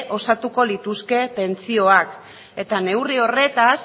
osatuko lituzke pentsioak eta neurri horretaz